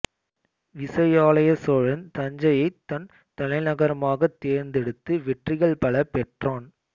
விசயாலய சோழன் தஞ்சையைத் தன் தலைநகரமாகத் தேர்ந்தெடுத்து வெற்றிகள் பல பெற்றான்